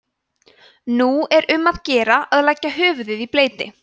nú er um að gera að leggja höfuðið í bleyti